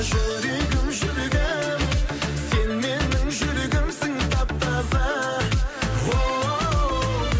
жүрегім жүрегім сен менің жүрегімсің тап таза оу